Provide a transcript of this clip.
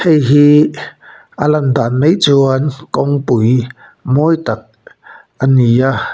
hei hi a lan dan mai chuan kawngpui mawi tak a ni a.